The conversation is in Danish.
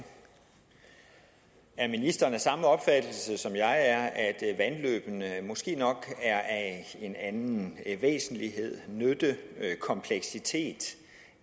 er ministeren af samme opfattelse som jeg er at vandløbene måske nok er af en anden væsentlighed nyttekompleksitet